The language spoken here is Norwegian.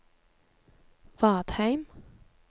Vadheim